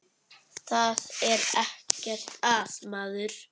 Það er ekkert að maður.